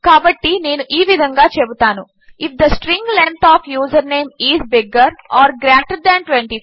కాబట్టి నేను ఈ విధంగా చెబుతాను if the string length of username is bigger or greater than 25